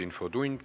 Infotund.